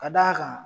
Ka d'a kan